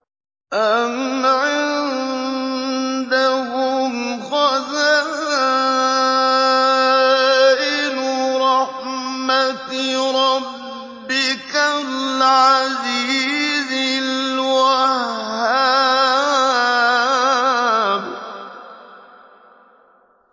أَمْ عِندَهُمْ خَزَائِنُ رَحْمَةِ رَبِّكَ الْعَزِيزِ الْوَهَّابِ